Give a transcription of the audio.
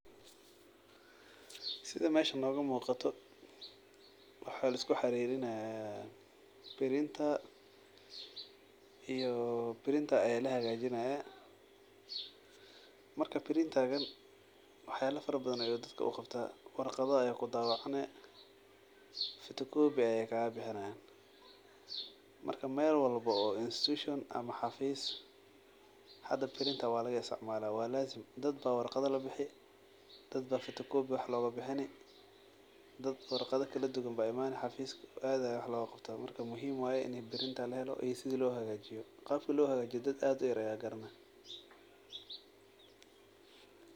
Sida meesan nogamuqada waxa laiskuxaririnaya printer birinter aya lahagajinaya marka waxyala farabadan ayu dadka uqabta warqado ayu kudawacani fotokobi aya kagabixinayan marka meel walbo oo institution ama xafis birintar walaga isticmala oo dadba warqada labixi dadba fotokobi wax logabixini marka aad aya wax logaqabta muhiim sida lohagajiyana dad aad uyar aya garanayo.